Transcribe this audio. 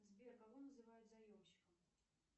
сбер кого называют заемщиком